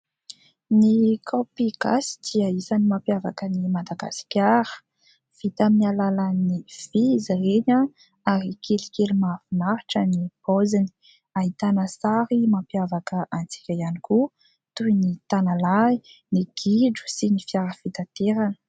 Ny kaopy gasy dia isan'ny mampiavaka an'i Madagasikara. Vita amin'ny alalan'ny vy izy ireny ary kelikely mahafinaritra ny paoziny. Ahitana sary mampiavaka antsika ihany koa toy ny tanalahy, ny gidro sy ny fiara fitanterana.